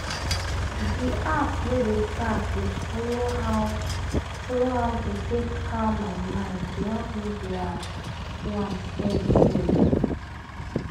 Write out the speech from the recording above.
di app wey dey tack dey follow how follow how to take calm my mind dey help me dey ah! do am steady steady.